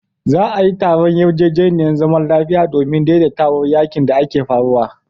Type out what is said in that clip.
Za'a yi taron yarjejeniyar zaman lafiya domin daidaita yakin da ke faruwa.